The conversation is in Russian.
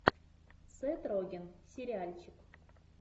сет роген сериальчик